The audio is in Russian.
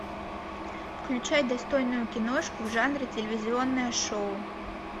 включай достойную киношку в жанре телевизионное шоу